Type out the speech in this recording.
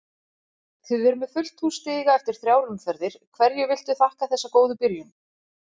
Þið eruð með fullt hús stiga eftir þrjár umferðir, hverju viltu þakka þessa góðu byrjun?